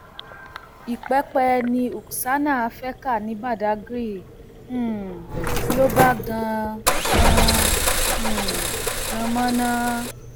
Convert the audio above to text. ìpẹpẹ ni uksana fee kà ní badàgry um ló bá gan gan um gán mọnà